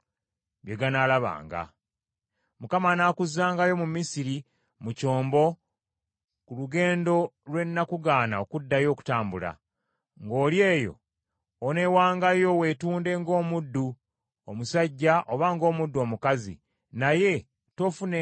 Mukama anaakuzzangayo mu Misiri mu kyombo, ku lugendo lwe nakugaana okuddayo okutambula. Ng’oli eyo oneewangayo weetunde ng’omuddu omusajja oba ng’omuddu omukazi, naye toofunengayo muntu n’omu akugula.